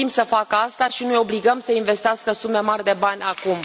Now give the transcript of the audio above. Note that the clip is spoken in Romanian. Au timp să facă asta și nu îi obligăm să investească sume mari de bani acum.